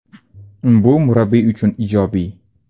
Bu murabbiy uchun ijobiy.